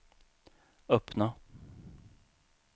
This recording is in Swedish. öppna